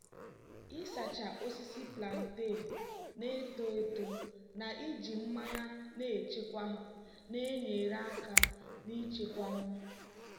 ịsacha osisi plantain na-eto eto na iji mmanya na-echekwa ha na-enyere aka n'ichekwa nri.